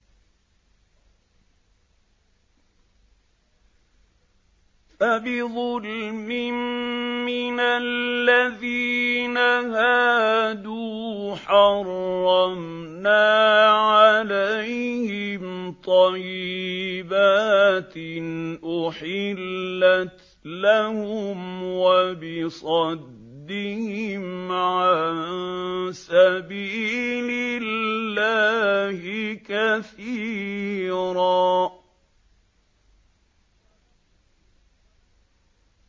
فَبِظُلْمٍ مِّنَ الَّذِينَ هَادُوا حَرَّمْنَا عَلَيْهِمْ طَيِّبَاتٍ أُحِلَّتْ لَهُمْ وَبِصَدِّهِمْ عَن سَبِيلِ اللَّهِ كَثِيرًا